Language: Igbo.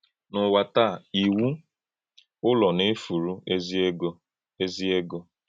N’ụ́wà tàá, ìwù Ụ́lọ̀ na-efùrù èzì-ègo. èzì-ègo.